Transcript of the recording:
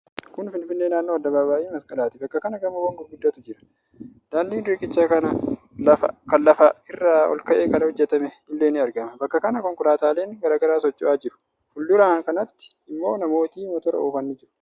Kun Finfinnee naannoo Addabaaba'ii Masqalaati. Bakka kana gamoowwan gurguddaatu jira. Daandiin riqichaa kan lafa irraa olka'ee kan hojjatame illee ni argama. Bakka kana konkolaataaleen garaa garaa socho'aa jiru. Fuuldura kanatti ammoo namooti motora oofan ni jiru.